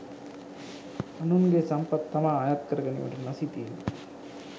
අනුන්ගේ සම්පත් තමා අයත් කරගැනීමට නොසිතීම